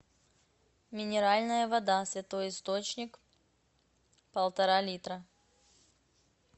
минеральная вода святой источник полтора литра